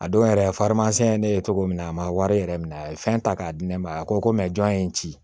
A don yɛrɛ ye ne ye cogo min na a ma wari yɛrɛ minɛ a ye fɛn ta k'a di ne ma a ko ko mɛ jɔn ye n ci